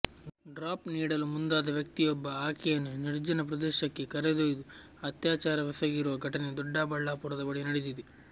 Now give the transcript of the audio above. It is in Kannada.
ಡ್ರಾಪ್ ನೀಡಲು ಮುಂದಾದ ವ್ಯಕ್ತಿಯೊಬ್ಬ ಆಕೆಯನ್ನು ನಿರ್ಜನ ಪ್ರದೇಶಕ್ಕೆ ಕರೆದ್ಯೊಯ್ದು ಅತ್ಯಾಚಾರವೆಸಗಿರುವ ಘಟನೆ ದೊಡ್ಡಬಳ್ಳಾಪುರದ ಬಳಿ ನಡೆದಿದೆ